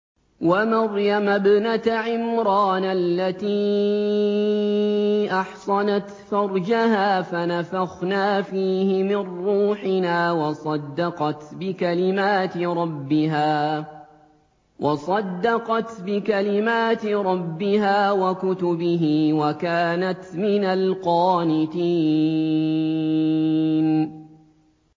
وَمَرْيَمَ ابْنَتَ عِمْرَانَ الَّتِي أَحْصَنَتْ فَرْجَهَا فَنَفَخْنَا فِيهِ مِن رُّوحِنَا وَصَدَّقَتْ بِكَلِمَاتِ رَبِّهَا وَكُتُبِهِ وَكَانَتْ مِنَ الْقَانِتِينَ